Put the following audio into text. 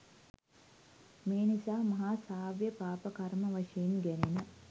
මේ නිසා මහා සාවද්‍ය පාප කර්ම වශයෙන් ගැනෙන